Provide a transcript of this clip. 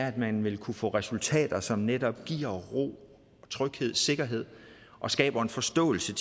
at man vil kunne få resultater som netop giver ro tryghed og sikkerhed og skaber en forståelse